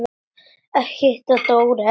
Ég hitti Dóra frænda þinn.